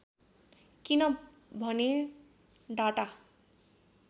किन भने डाटा